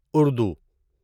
Urdu